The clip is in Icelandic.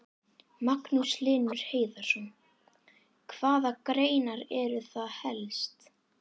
Magnús Hlynur Hreiðarsson: Hvaða greinar eru það helst?